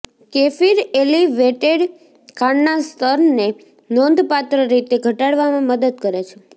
kefir elevated ખાંડના સ્તરને નોંધપાત્ર રીતે ઘટાડવામાં મદદ કરે છે